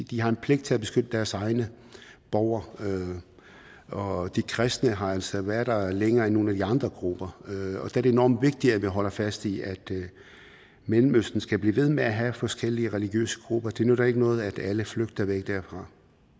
de har en pligt til at beskytte deres egne borgere og de kristne har altså været der længere end nogle af de andre grupper der er det enormt vigtigt at vi holder fast i at mellemøsten skal blive ved med at have forskellige religiøse grupper det nytter ikke noget at alle flygter væk derfra